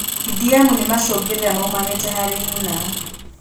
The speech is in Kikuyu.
DDM nĩ macũngĩrĩra maumanĩte harĩ nyina